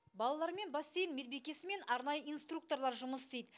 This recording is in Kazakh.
балалармен бассейн медбикесі мен арнайы инструкторлар жұмыс істейді